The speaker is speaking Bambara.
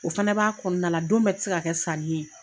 O fɛnɛ b'a kɔnɔna la don bɛ te se ka kɛ sanni ye